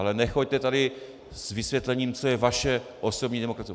Ale nechoďte tady s vysvětlením, co je vaše osobní demokracie.